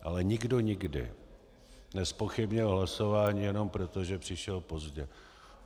Ale nikdo nikdy nezpochybnil hlasování jenom proto, že přišel pozdě.